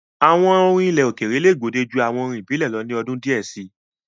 Àwọn orin ilẹ̀ òkèèrè le gbòde ju àwọn orin ìbílẹ̀ lọ ni ọdún díẹ̀ si.